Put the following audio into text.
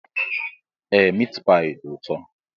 Ee miit paayi dị ụtọ